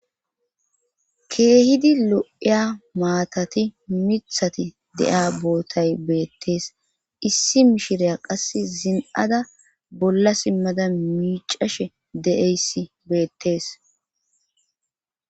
Keehidi lo7iya maatati mithati de7a bootay beettees issi mishireya qass zin7ada bolla simmada miicashe de7eyssi beettees.